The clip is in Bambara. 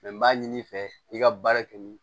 n b'a ɲini i fɛ i ka baara kɛ nin